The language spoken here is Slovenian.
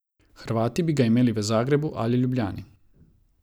Hrvati bi ga imeli v Zagrebu ali Ljubljani.